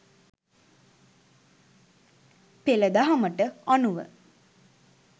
පෙළ දහමට අනුව